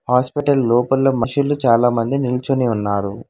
Hospital లోపల మషులు చాలామంది నిల్చొని ఉన్నారు.